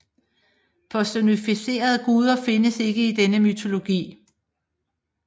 Personificerede guder findes ikke i denne mytologi